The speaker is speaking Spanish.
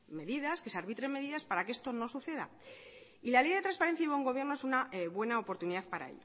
medidas que se arbitren medidas para que esto no suceda y la ley de transparencia y buen gobierno es una buena oportunidad para